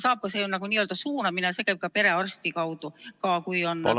See on n-ö suunamine, see käib ka perearsti kaudu, kui on võimalus ...